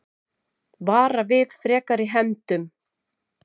Vara við frekari hefndum